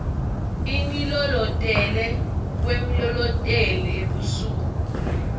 ingilolotele kwemlolotel ebusuku